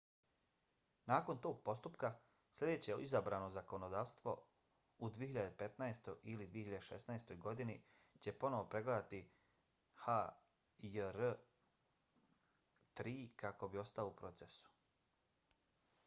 nakon tog postupka sljedeće izabrano zakonodavstvo u 2015. ili 2016. godini će ponovo pregledati hjr-3 kako bi ostao u procesu